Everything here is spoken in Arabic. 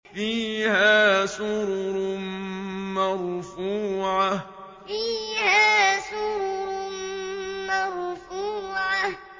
فِيهَا سُرُرٌ مَّرْفُوعَةٌ فِيهَا سُرُرٌ مَّرْفُوعَةٌ